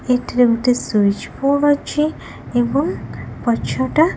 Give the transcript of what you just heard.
ଏଥିରେ ଗୋଟେ switch board ଅଛି ଏବଂ ପଛଟା।